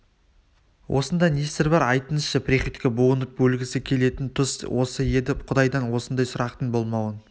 осында не сыр бар айтыңызшы приходько буынып өлгісі келетін тұс осы еді құдайдан осындай сұрақтың болмауын